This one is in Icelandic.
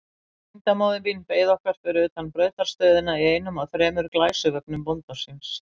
Tengdamóðir mín beið okkar fyrir utan brautarstöðina í einum af þremur glæsivögnum bónda síns.